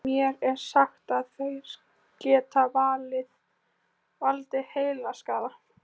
Mér er sagt að þeir geti valdið heilaskaða.